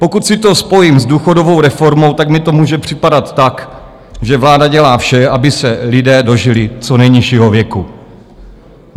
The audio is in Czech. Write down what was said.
Pokud si to spojím s důchodovou reformou, tak mi to může připadat tak, že vláda dělá vše, aby se lidé dožili co nejnižšího věku.